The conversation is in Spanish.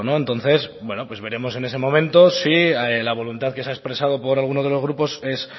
entonces pues veremos en ese momento si la voluntad que se ha expresado por alguno de los grupos